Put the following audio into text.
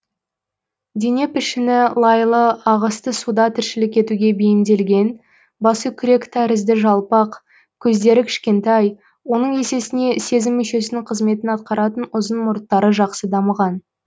дене пішіні лайлы ағысты суда тіршілік етуге бейімделген басы күрек тәрізді жалпақ көздері кішкентай оның есесіне сезім мүшесінің қызметін атқаратын ұзын мұрттары жақсы дамыған